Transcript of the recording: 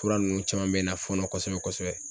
Fura ninnu caman bɛ n na fɔɔnɔ kosɛbɛ-kosɛbɛ.